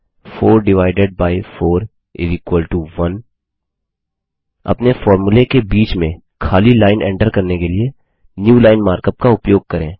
4 divided by 4 1 अपने फोर्मुले के बीच में खाली लाइन एंटर करने के लिए न्यूलाइन मार्कअप का उपयोग करें